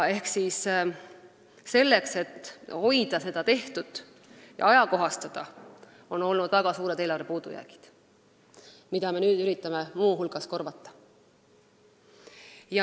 Selles, et hoida tehtut ja seda ajakohastada, on olnud väga suured eelarvepuudujäägid, mida me nüüd üritame muu hulgas korvata.